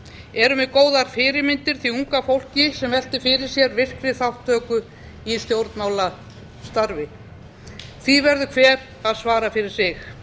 erum við góðar fyrirmyndir því unga fólki sem veltir fyrir sér virkri þátttöku í stjórnmálastarfi því verður hver að svara fyrir sig